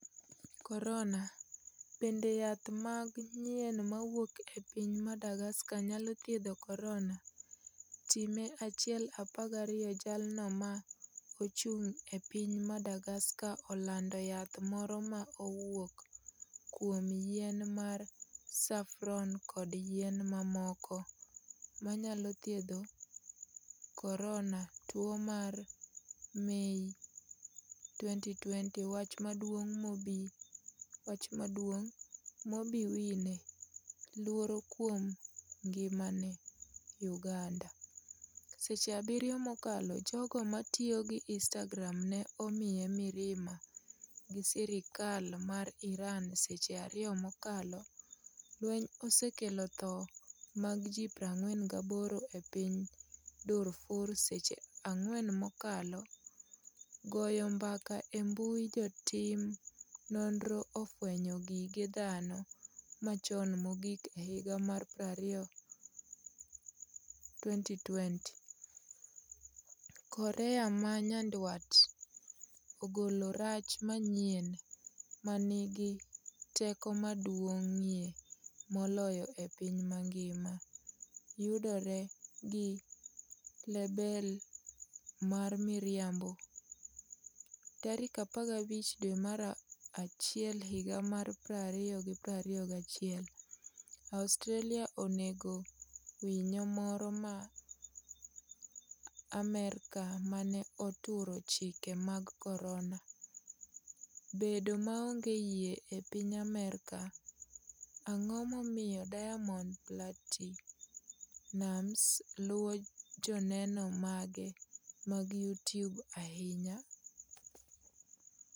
Korona: Bende yath mag yien mawuok e piny Madagascar nyalo thiedho korona?, Time 1,12 Jalno ma ochung' e piny Madagascar olando yath moro ma owuok kuom yien mar safron kod yien mamoko manyalo thiedho korona Tuo mar Mei 2020 Wach maduong' Bobi Wine 'luoro kuom ngimane' Uganda Seche 7 mokalo Jogo matiyo gi Instagram ne omiye mirima gi sirikal mar Iran Seche 2 mokalo Lweny osekelo tho mag ji 48 e piny Darfur Seche 4 mokalo Goyo mbaka e mbui Jotim nonro ofwenyo gige dhano machon mogik e higa mar 2020. Korea ma Nyanduat ogolo rach manyien 'ma nigi teko maduong'ie moloyo e piny mangima' yudore gi lebel mar miriambo tarik 15 dwe mar achiel higa mar 2021 Australia onego winyo moro ma Amerka mane ‘oturo chike mag Corona’ bedo maonge yie e piny Amerka Ang'o momiyo Diamond Platinumz luwo joneno mage mag YouTube ahinya?